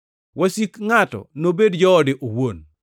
wasik ngʼato nobed joode owuon.’ + 10:36 \+xt Mik 7:6\+xt*